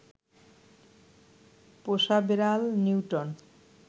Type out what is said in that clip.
পোষা বেড়াল নিউটন